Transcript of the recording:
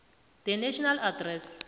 the nation address